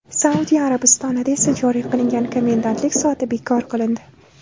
Saudiya Arabistonida esa joriy qilingan komendantlik soati bekor qilindi .